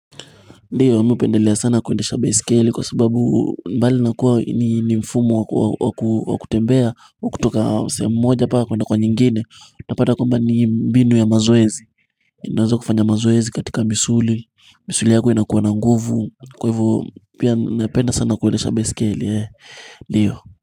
Ndiyo ame pendelea sana kuendesh baisikeli kwa sababu mbali nakuwa ni mfumo wa kutembea wa kutoka sehemu mmoja mpaka kuwende kwa nyingine Utapada kwamba ni binu ya mazoezi unaweza kufanya mazoezi katika misuli misuli yako inakuwa na nguvu kwa hivyo pia napenda sana kuwendesha baisikeli Ndiyo.